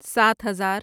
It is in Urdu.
سات ہزار